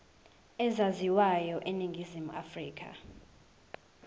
ezaziwayo eningizimu afrika